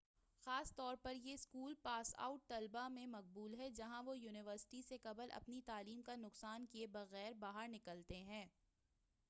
خاص طور پر یہ اسکول پاس آؤٹ طلبہ میں مقبول ہے جہاں وہ یونیورسٹی سے قبل اپنی تعلیم کا نقصان کیے بغیرباہر نکلتے ہیں